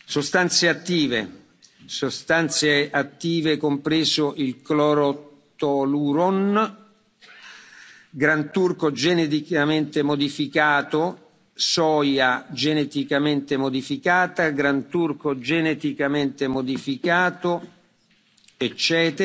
sostanze attive, sostanze attive compreso il clorotoluron, granturco geneticamente modificato, soia geneticamente modificata e granturco geneticamente modificato